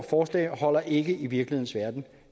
forslag holder ikke i virkelighedens verden